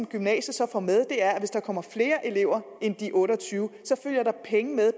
gymnasiet så får med er at hvis der kommer flere elever end de otte og tyve følger der penge med